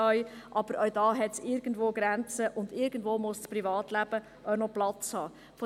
Aber auch da gibt es Grenzen, und irgendwo muss das Privatleben auch noch Platz haben.